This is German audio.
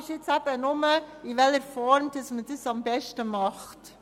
Die Frage ist nur, in welcher Form man es am besten macht.